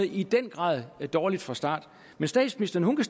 i den grad er kommet dårligt fra start men statsministeren